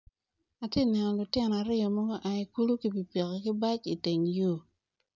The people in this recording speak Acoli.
Atye neno lutino aryo magu aa ikulu kipipiki ki bac i teng yo.